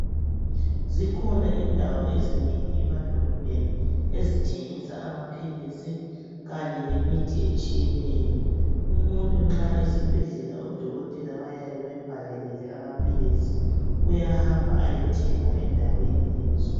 Zikhona indawo ezinengi emadolobheni ezithengisa amaphilisi kanye lemithi etshiyeneyo. Umuntu nxa esibhedlela udokotela bayabe bembhalelile amaphilisi, uyahamba ayethenga endaweni lezo.